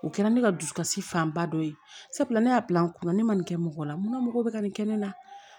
O kɛra ne ka dusukasi fanba dɔ ye sabula ne y'a bila n kunna ne man nin kɛ mɔgɔ la mun na mɔgɔ bɛ ka nin kɛ ne na